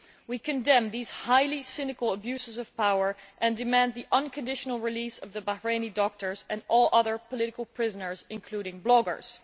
We condemn these highly cynical abuses of power and demand the unconditional release of the Bahraini doctors and all other political prisoners, including bloggers.